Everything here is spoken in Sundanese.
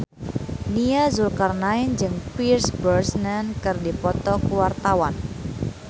Nia Zulkarnaen jeung Pierce Brosnan keur dipoto ku wartawan